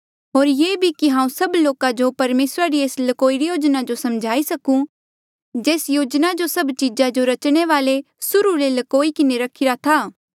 होर ये भी कि हांऊँ सभ लोका जो परमेसरा री एस लकोई री योजना जो समझाई सकूं जेस योजना जो सभ चीजा जो रचणे वाले सुर्हू ले लकोई किन्हें रखिरा था